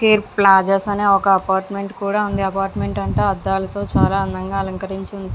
Cheer plazas అని ఒక apartment కూడా ఉంది అపార్ట్మెంట్ అంతా కూడా అద్దాలతో చాలా అందంగా అలంకరించి ఉంది.